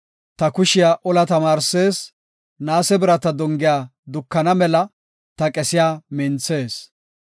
Ta kushiya ola tamaarsees; naase birata dongiya dukana mela ta qessiya minthees.